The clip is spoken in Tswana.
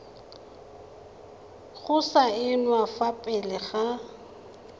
go saenwa fa pele ga